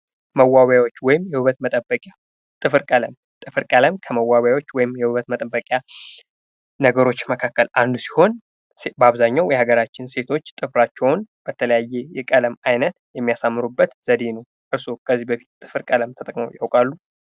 መዋቢያዎች ወይም የውበት መጠበቂያ ፦ ጥፍር ቀለም ፦ ጥፍር ቀለም ከመዋቢያዎች ወይም የውበት መጠበቂ ነገሮች መካከል አንዱ ሲሆን በአብዛኛው የሀገራችን ሴቶች ጥፍራቸውን በተለያየ የቀለም አይነት የሚያሳምሩበት ዘዴ ነው ። እርስዎ ከዚህ በፊት ጥፍር ቀለም ተጠቅምው ያውቃሉ ?